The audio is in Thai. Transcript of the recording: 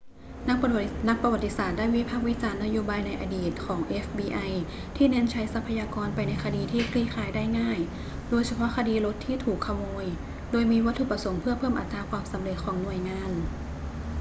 นักประวัติศาสตร์ได้วิพากษ์วิจารณ์นโยบายในอดีตของเอฟบีไอที่เน้นใช้ทรัพยากรไปในคดีที่คลี่คลายได้ง่าย โดยเฉพาะคดีรถที่ถูกขโมย โดยมีวัตถุประสงค์เพื่อเพิ่มอัตราความสำเร็จของหน่วยงาน